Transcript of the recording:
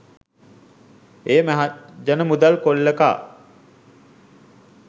එය මහජන මුදල් කොල්ල කා